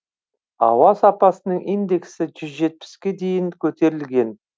ауа сапасының индексі жүз жетпіске дейін көтерілген